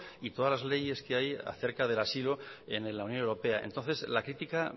y todas las leyes que hay acerca del asilo en la unión europea entonces la crítica